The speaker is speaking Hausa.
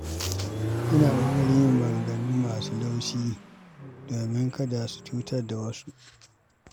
Ina ƙoƙarin yin maganganu masu laushi domin kada su cutar da zuciyar wasu.